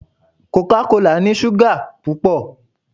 Coca kola ni súgà pupọ.